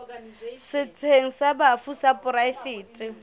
setsheng sa bafu sa poraefete